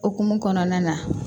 Okumu kɔnɔna na